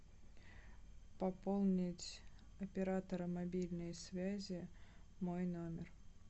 пополнить оператора мобильной связи мой номер